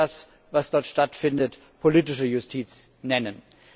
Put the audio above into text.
Ich würde das, was dort stattfindet, politische Justiz nennen.